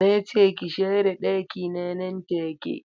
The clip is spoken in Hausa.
Nace ki share ɗakina nan take.